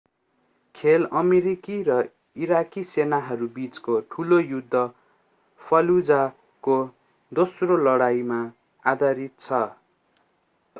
खेल अमेरिकी र इराकी सेनाहरूबीचको ठुलो युद्ध fallujah को दोस्रो लडाईमा आधारित छ